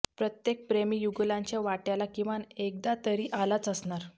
प्रत्येक प्रेमी युगुलांच्या वाटयाला किमान एकदा तरी आलाच असणार